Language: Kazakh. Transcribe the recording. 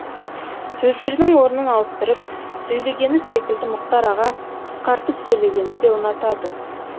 сөздердің орнын ауыстырып сөйлегені секілді мұхтар аға қысқартып сөйлегенді де ұнатады